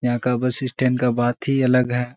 यहां का bus stand का बात ही अलग है।